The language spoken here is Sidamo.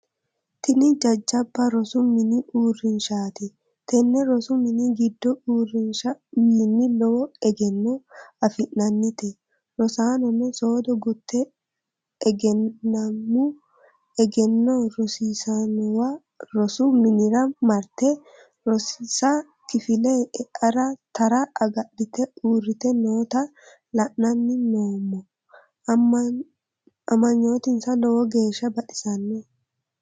Tini jajabba rosu mini uurrinshati, tene rosu mini giddo uurrinsha wiini lowo egenno affi'nannite, rosanono soodo gute egenammu egenno rosiisanowa rosu minira marte rosisa kifile eara tara agadhite uurrite nootta la"anni noommo, amanyotinsa lowo geeshsha baxisinoe.